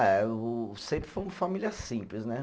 Ah, eu sempre fui uma família simples, né?